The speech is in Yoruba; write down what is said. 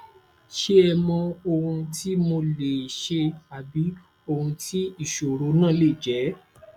ṣe ẹ mọ ohun tí mo lè ṣe àbí ohun tí ìṣòro náà lè jẹ